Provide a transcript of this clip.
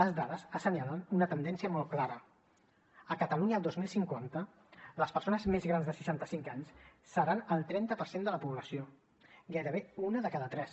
les dades assenyalen una tendència molt clara a catalunya el dos mil cinquanta les persones més grans de seixanta cinc anys seran el trenta per cent de la població gairebé una de cada tres